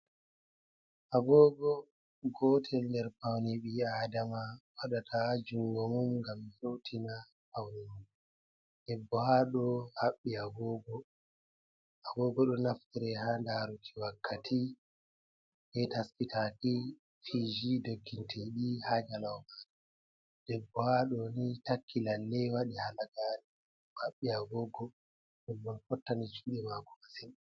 Agogo gotel nder paune ɓi Adama waɗata ha jungo mum ngam hutina pauni mum. Debbo haɗɗo haɓɓi agogo. Ɗo naftre ha daruki wakkati, ha taskitaki fiji, doggintidi ha jalauma. Debbo haɗo ni takki lalle waɗi halagare, oɗo haɓɓi agogo ɗum bo fottani juɗe mako masin.